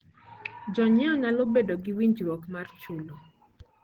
Jonyiewo nyalo bedo gi winjruok mar chulo.